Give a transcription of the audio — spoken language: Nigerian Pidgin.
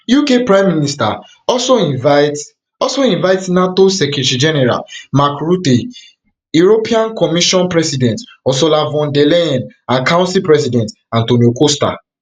uk pm also invite also invite nato secretary general mark rutte european commission president ursula von der leyen and council president antonio costa